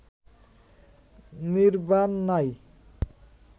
নির্ব্বাণ নাই